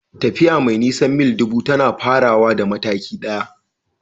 Tafiya mai nisan mil ɗubu tana farawa da mataki ɗaya.